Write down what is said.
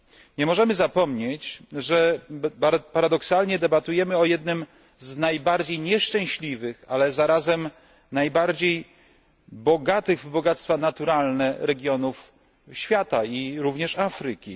Nie możemy zapomnieć, że paradoksalnie debatujemy o jednym z najbardziej nieszczęśliwych, ale zarazem najbogatszych w zasoby naturalne regionów świata i Afryki.